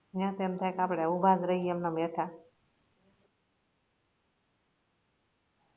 યા તો એમ થાય કે આપણે ઉભા જ રહીયે એમના ભેઠા